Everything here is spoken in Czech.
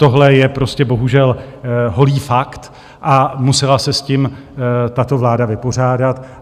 Tohle je prostě bohužel holý fakt a musela se s tím tato vláda vypořádat.